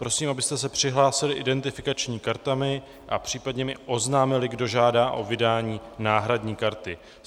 Prosím, abyste se přihlásili identifikačními kartami a případně mi oznámili, kdo žádá o vydání náhradní karty.